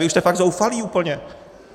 Vy už jste fakt zoufalí úplně.